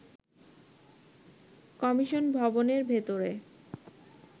commission ভবনের ভেতরে